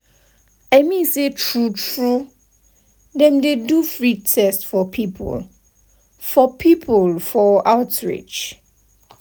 i mean say true true dem dey do free test for people for people for outreach.